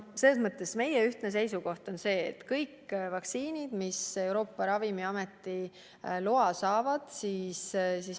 Selles mõttes on meie ühine seisukoht et me kasutame kõiki vaktsiine, mis Euroopa Ravimiameti loa saavad.